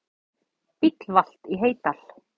Bíll valt í Heydal